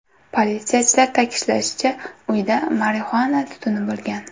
Politsiyachilar ta’kidlashicha, uyda marixuana tutuni bo‘lgan.